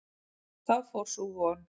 Þá fór sú von!